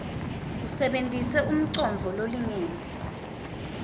usebentise umcondvo lolingene